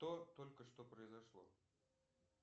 что только что произошло